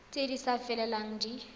tse di sa felelang di